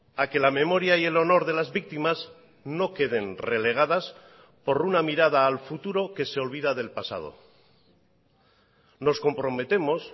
a que la memoria y el honor de las víctimas no queden relegadas por una mirada al futuro que se olvida del pasado nos comprometemos